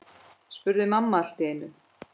spurði mamma allt í einu.